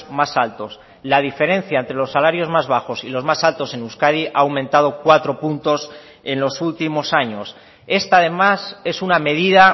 más altos la diferencia entre los salarios más bajos y los más altos en euskadi ha aumentado cuatro puntos en los últimos años esta además es una medida